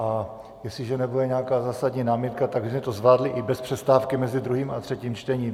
A jestliže nebude nějaká zásadní námitka, tak bychom to zvládli i bez přestávky mezi druhým a třetím čtením.